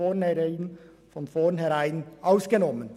Sie ist von vornherein ausgenommen.